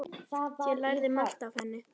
Ég lærði margt af henni.